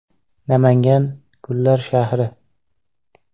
Namangan – gullar shahri.